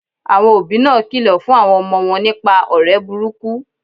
Àwon òbí náà kìlò fún àwon omo won nípa òré burúkú